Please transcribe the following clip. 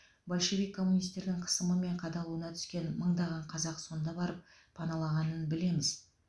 большевик коммунистердің қысымы мен қадалуына түскен мыңдаған қазақ сонда барып паналағынын білеміз